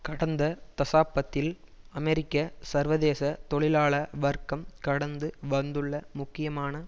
கடந்த தசாப்பத்தில் அமெரிக்க சர்வதேச தொழிலாள வர்க்கம் கடந்து வந்துள்ள முக்கியமான